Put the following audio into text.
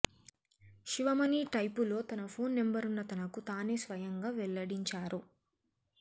శివమణి టైపులో తన ఫోన్ నెంబర్ను తనకు తానే స్వయంగా వెల్లడించారు